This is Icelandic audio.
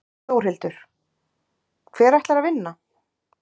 Þórhildur: Hver ætlar að vinna?